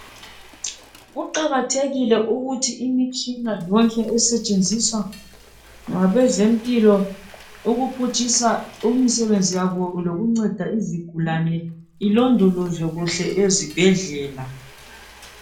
Kuqakathekile ukuthi imitshina yonke esetshenziswa ngabezempilo ukuphutshisa imisebenzi yabo lokuncedisa izigulane ilondolozwe kuhle ezibhedlela.